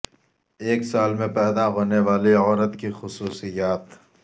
ایک سال میں پیدا ہونے والی عورت کی خصوصیات